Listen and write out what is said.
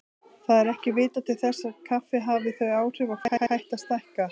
Það er ekki vitað til þess kaffi hafi þau áhrif að fólk hætti að stækka.